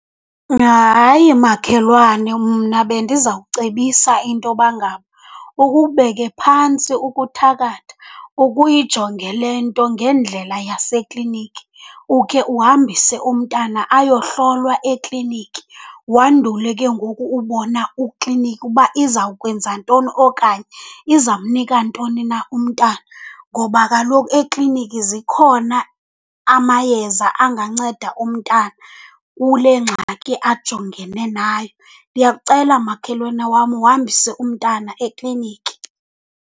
Hayi, makhelwane, mna bendizawucebisa intoba ngaba ukubeke phantsi ukuthakatha uke uyijonge le nto ngendlela yasekliniki. Ukhe uhambise umntana ayohlolwa ekliniki wandule ke ngoku ubona ukliniki uba izawukwenza ntoni okanye izamnika ntoni na umntana. Ngoba kaloku ekliniki zikhona amayeza anganceda umntana kule ngxaki ajongene nayo. Ndiyakucela, makhwelane wam, uhambise umntana ekliniki.